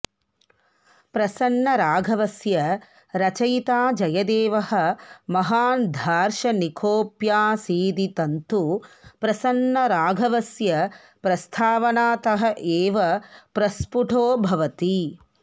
प्रसन्नराघवस्य रचयिता जयदेवः महान् दार्शनिकोऽप्यासीदिदन्तु प्रसन्नराघवस्य प्रस्तावनातः एव प्रस्फुटो भवति